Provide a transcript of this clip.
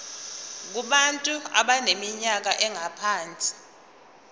kubantu abaneminyaka engaphansi